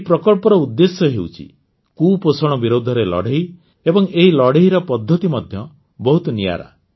ଏହି ପ୍ରକଳ୍ପର ଉଦ୍ଦେଶ୍ୟ ହେଉଛି କୁପୋଷଣ ବିରୋଧରେ ଲଢ଼େଇ ଏବଂ ଏହି ଲଢ଼େଇର ପଦ୍ଧତି ମଧ୍ୟ ବହୁତ ନିଆରା